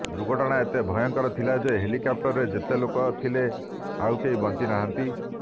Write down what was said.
ଦୁର୍ଘଟଣା ଏତେ ଭୟଙ୍କର ଥିଲା ଯେ ହେଲିକପ୍ଟରରେ ଯେତେ ଲୋକ ଥିଲେ ଆଉ କେହି ବଞ୍ଚି ନାହାନ୍ତି